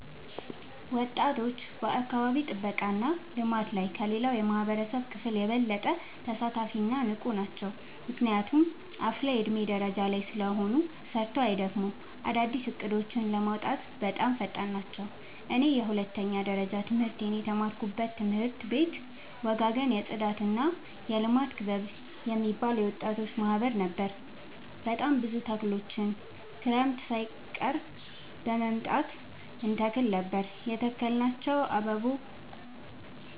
ወጣቶች በአካባቢ ጥብቃ እና ልማት ላይ ከሌላው የማህበረሰብ ክፍል የበለጠ ተሳታፊ እና ንቁ ናቸው። ምክንያቱም አፋላ የዕድሜ ደረጃ ላይ ስለሆኑ ሰርተው አይደክሙም፤ አዳዲስ እቅዶችን ለማውጣትም በጣም ፈጣን ናቸው። እኔ የሁለተኛ ደረጃ ትምህርቴን የተማርኩበት ትምህርት ቤት ወጋገን የፅዳትና የልማት ክበብ የሚባል የወጣቶች ማህበር ነበር። በጣም ብዙ ተክሎችን ክረምት ሳይቀር በመምጣ እንተክል ነበር የተከልናቸው